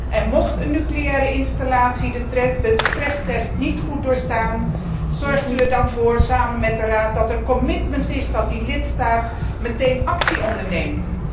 En mocht een nucleaire installatie de stresstest niet goed doorstaan, zorgt u er dan voor, samen met de Raad, dat er commitment is dat die lidstaat meteen actie onderneemt.